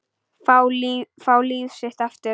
Fá líf sitt aftur.